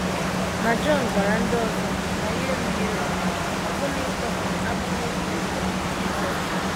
Ma Jọn gwara ndị ọzọ na ya erughị eru ọbụna ịtọpụ akpụkpọ ụkwụ Jisọs..